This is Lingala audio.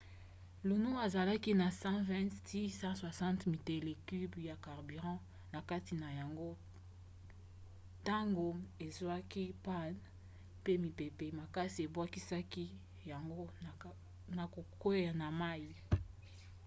luno azalaki na 120–160 metele cubes ya carburant na kati na yango ntango ezwaki panne pe mipepe makasi epusaki yango na kokwea na mai